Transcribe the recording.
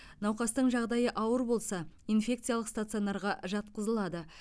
науқастың жағдайы ауыр болса инфекциялық стационарға жатқызылады